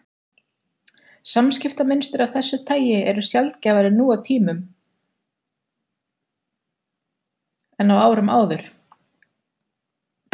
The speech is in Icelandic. Samskiptamynstur af þessu tagi eru sjaldgæfari nú en á árum áður.